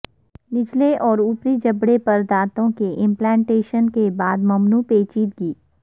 نچلے اور اوپری جبڑے پر دانتوں کے امپلانٹیشن کے بعد ممنوع پیچیدگی